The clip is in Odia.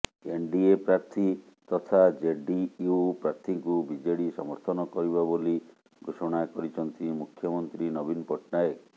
ଏନଡିଏ ପ୍ରାର୍ଥୀ ତଥା ଜେଡିୟୁ ପ୍ରାର୍ଥୀଙ୍କୁ ବିଜେଡ଼ି ସମର୍ଥନ କରିବ ବୋଲି ଘୋଷଣା କରିଛନ୍ତି ମୁଖ୍ୟମନ୍ତ୍ରୀ ନବୀନ ପଟ୍ଟନାୟକ